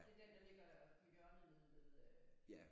Det er den der ligger på hjørnet ved øh